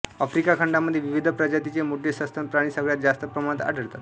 Africa खंडामध्ये विविध प्रजातींचे मोठे सस्तन प्राणी सगळ्यात जास्त प्रमाणात आढळतात